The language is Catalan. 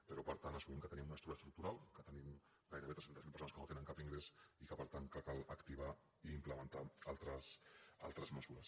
però per tant assumim que tenim un atur estructural que tenim gairebé tres cents miler persones que no tenen cap ingrés i que per tant cal activar i implementar altres mesures